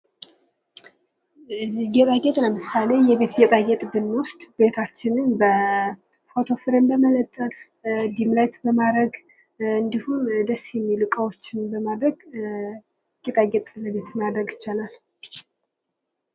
ጌጣጌጥ ለምሳሌ የቤት ጌጤጌጥ ብንወስድ ቤታችንን ፎቶ ፍሬም በመለጠፍ ላይት በማድረግ እንዲሁም ደስ የሚል እቃዎችን በማድረግ ጌጣጌጥ ማድረግ ይቻላል።